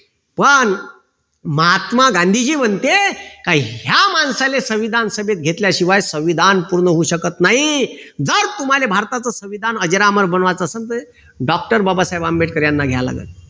पण महात्मा गांधीजी म्हणते, का ह्या माणसाले संविधान सभेत घेतल्या शिवाय संविधान पूर्ण होऊ शकत नाही. जर तुम्हाला भारताचं संविधान अजरामर बनवायचं असेल तर doctor बाबासाहेब आंबेडकर याना घ्यायला लागलं.